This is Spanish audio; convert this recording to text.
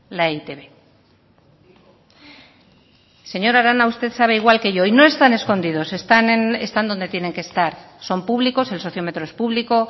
la e i te be señora arana usted sabe igual que yo y no están escondidos están donde tienen que estar son públicos el sociómetro es público